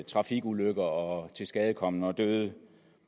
trafikulykker og tilskadekomne og døde